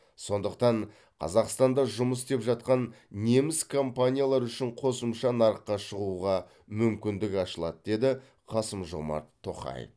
сондықтан қазақстанда жұмыс істеп жатқан неміс компаниялары үшін қосымша нарыққа шығуға мүмкіндік ашылады деді қасым жомарт тоқаев